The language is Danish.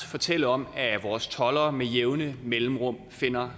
fortælle om at vores toldere med jævne mellemrum finder